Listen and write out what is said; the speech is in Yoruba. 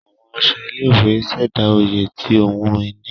Àwọn aṣọ ilé-ìwé ṣẹda oyè ti ohùn ìní.